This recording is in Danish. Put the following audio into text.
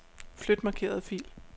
Flyt markerede fil.